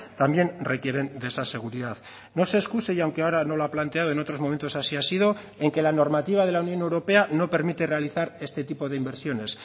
también requieren de esa seguridad no se excuse y aunque ahora no lo ha planteado en otros momentos así ha sido en que la normativa de la unión europea no permite realizar este tipo de inversiones